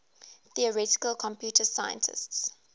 theoretical computer scientists